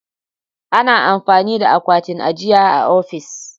Ana amfani da akwatin ajiya a ofis.